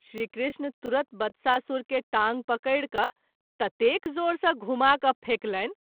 श्री कृष्ण तुरत बत्सासुर के टाँग पकड़ि क’ ततेक जोर सँ घुमा क’ फेकलनि।